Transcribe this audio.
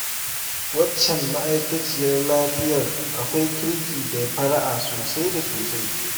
Waccan ma'aikaciyar lafiyar akwai kirki da fara'a sosai da sosai